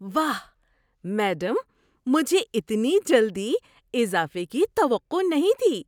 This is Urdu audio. واہ، میڈم! مجھے اتنی جلدی اضافے کی توقع نہیں تھی!